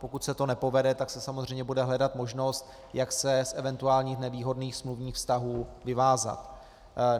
Pokud se to nepovede, tak se samozřejmě bude hledat možnost, jak se z eventuálně nevýhodných smluvních vztahů vyvázat.